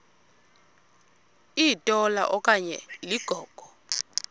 litola okanye ligogo